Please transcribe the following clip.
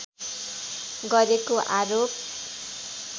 गरेको आरोप